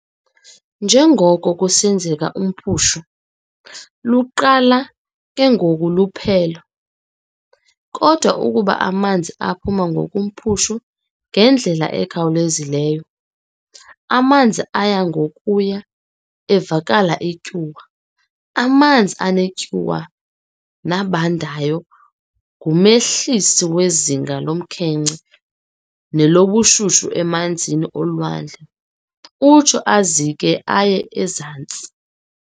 Nje ngoko kusenzeka umphushu, luqala ke ngoku luphole, kodwa ukuba amanzi aphuma ngokomphushu ngendlela ekhawulwzileyo, amanzi aya ngokuya evakala ityuwa. Amanzi anetyuwa nabandayo ngumehlisi wezinga lomkhenkce nelobushushu emanzini olwandle, utsho azike aye ezantsi.